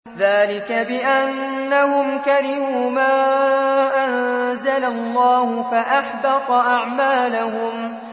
ذَٰلِكَ بِأَنَّهُمْ كَرِهُوا مَا أَنزَلَ اللَّهُ فَأَحْبَطَ أَعْمَالَهُمْ